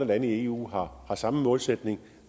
lande i eu har samme målsætning